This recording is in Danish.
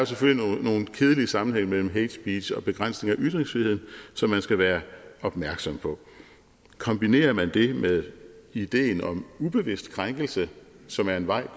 selvfølgelig er nogle kedelige sammenhænge imellem hatespeech og begrænsning af ytringsfriheden som man skal være opmærksom på kombinerer man det med ideen om ubevidst krænkelse som er en vej